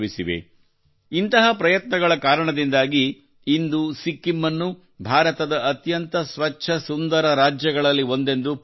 ಇಂತಹ ಪ್ರಯತ್ನಗಳ ಕಾರಣದಿಂದಾಗಿ ಇಂದು ಸಿಕ್ಕಿಂ ಅನ್ನು ಭಾರತದ ಅತ್ಯಂತ ಸ್ವಚ್ಛ ಸುಂದರ ರಾಜ್ಯಗಳಲ್ಲಿ ಒಂದೆಂದು ಪಟ್ಟಿ ಮಾಡಲಾಗಿದೆ